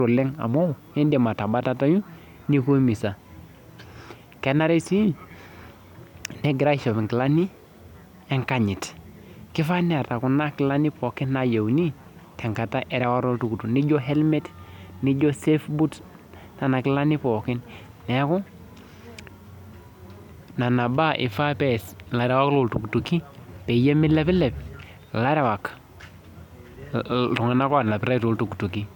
oleng amu indiim atabatatayu nikiumiza kenare sii negirai aishop inkilani enkanyit keifaa neeta kuna kilani pookin naayieuni tenkata erewata oltukutuk niji helmet nijo safe boots nena kilani pookin neeku nena baa eifaa pees ikarewak loontukutuki peyie meilepilep iltung'anak oonapitai tooltukutuki.